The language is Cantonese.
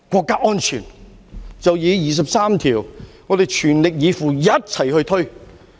對於第二十三條，我們便是要全力以赴，一起去推。